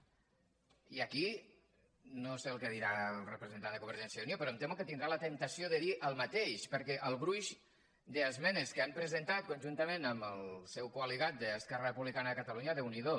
i aquí no sé el que dirà el representant de convergència i unió però em temo que tindrà la temptació de dir el mateix perquè el gruix d’esmenes que han presentat conjuntament amb el seu col·ligat d’esquerra republicana de catalunya déu n’hi do